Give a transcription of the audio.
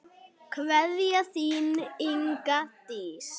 Kveðja, þín, Inga Dís.